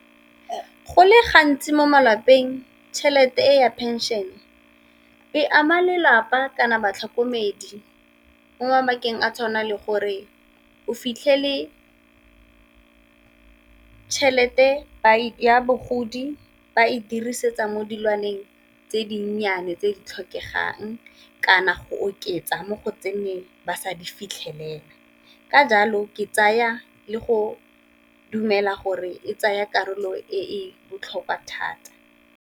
Go le gantsi mo malapeng tšhelete e ya pension e ama lelapa kana batlhokomedi mo mabakeng a tshwanang le gore o fitlhele tšhelete ya bogodi ba e dirisetsa mo dilwaneng tse dinnyane tse di tlhokegang, kana go oketsa mo go tse neng ba sa di fitlhelela. Ka jalo ke tsaya le go dumela gore e tsaya karolo e botlhokwa thata.